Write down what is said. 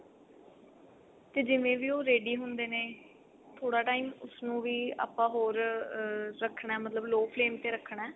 ਤੇ ਜਿਵੇਂ ਵੀ ਉਹ ready ਹੁੰਦੇ ਨੇ ਥੋੜਾ time ਉਸਨੂੰ ਵੀ ਆਪਾਂ ਹੋਰ ਰੱਖਣਾ ਮਤਲਬ low flame ਤੇ ਰੱਖਣਾ